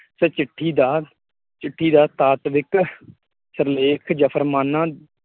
ਚਿੱਠੀ ਦਾ ਚਿੱਠੀ ਦਾ ਤਾਕਵਿੱਖ ਸਿਰਲੇਖ ਜਫ਼ਰਮਾਨਾ